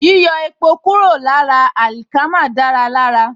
Yíyọ èpò kúrò lára àlìkámà dára lára